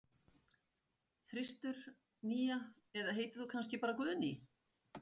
þristur, nía eða heitir þú kannski bara Guðný?